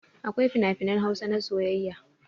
Akwai finafinan Hausa na soyayya.